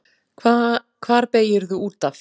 Hvar beygirðu út af?